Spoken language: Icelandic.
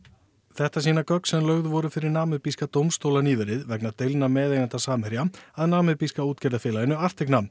þetta sýna gögn sem lögð voru fyrir dómstóla nýverið vegna deilna meðeigenda Samherja að útgerðarfélaginu